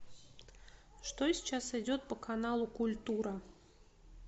что сейчас идет по каналу культура